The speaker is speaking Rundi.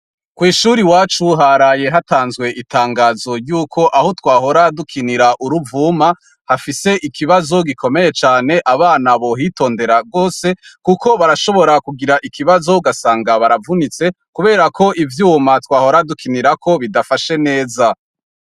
Kwishuri wacu haraye hatanzwe itangazo ryuko aho twahora dukinira uruvuma hafise ikibazo gikomeye cane abana bohitondera rwose, kuko barashobora kugira ikibazo gasanga baravunitse, kubera ko ivyuma twahoradukinirako bidafashe neza.